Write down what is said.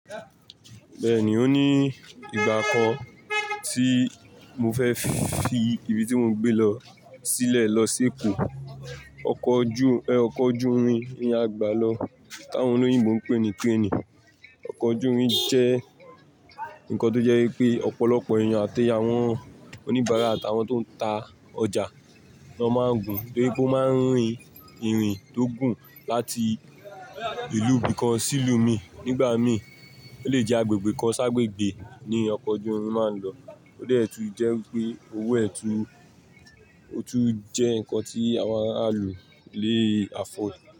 Bẹ́ẹ̀ni, o ní ìgbà kan tí mo fẹ́ fi ibi tí mò ń gbé lọ sílẹ̀ lọ sí Èkó. Ọkọ̀ ojú, ẹ, ọkọ̀ ojú irin ni a gbà lọ, táwọn olóyin mò ń pè ní train. Ọkọ̀ ojú irin jẹ́ ǹkan tó jẹ́ pé ọ̀pọ̀lọpọ̀ èèyàn àti àwọn oníbàárà àti àwọn tó ń ta ọjà ni na máa ń gùn, torí pé ó máa ń rin ìrìn tó gùn láti ìlú bikan sí lú mi. Nígbà mí, ó lè jẹ́ agbègbè kan ṣágbègbè ni ọkọ̀ ojú irin máa ń lọ. Ó dà ẹ́ tu ń jẹ́ wi pé owó ẹ tú, ó tún jẹ́ ǹkan tí àwọn aralu le afford.